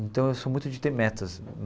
Então, eu sou muito de ter metas.